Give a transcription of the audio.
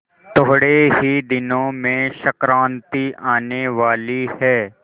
थोड़े ही दिनों में संक्रांति आने वाली है